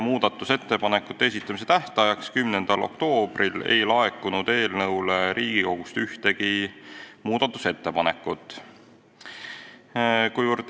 Muudatusettepanekute esitamise tähtajaks, 10. oktoobriks ei laekunud Riigikogust ühtegi muudatusettepanekut.